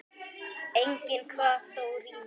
Enginn kvað þó rímu.